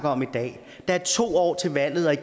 om at